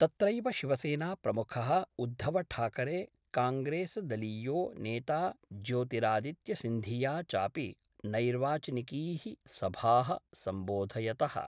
तत्रैव शिवसेनाप्रमुखः उद्धवठाकरे कांग्रेसदलीयो नेता ज्योतिरादित्य सिंधिया चापि नैर्वाचनिकीः सभाः सम्बोधयतः।